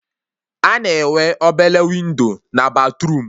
A na-enwe obele windo na batruum